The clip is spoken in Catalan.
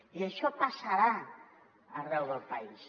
i això passarà arreu del país